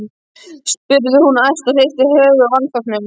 spurði hún æst og hristi höfuðið af vanþóknun.